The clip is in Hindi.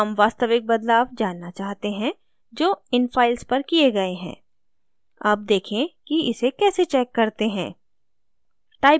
हम वास्तविक बदलाव जानना चाहते हैं जो इन files पर किये गए हैं अब देखें कि इसे कैसे check करते हैं